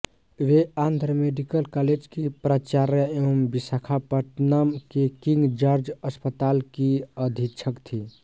वो Andhra medical college की प्राचार्या एवं विशाखापत्तनम के किंग जॉर्ज अस्पताल की अधीक्षक थीं